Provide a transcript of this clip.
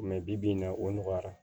bi bi in na o nɔgɔyara